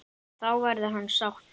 Þá verði hann sáttur.